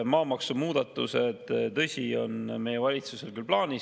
Maamaksumuudatused, tõsi, on meie valitsusel küll plaanis.